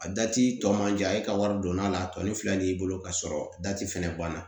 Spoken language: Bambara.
A dati tɔ man jan e ka wari donna a la a tɔ ni fila b'i bolo k'a sɔrɔ dati fɛnɛ banna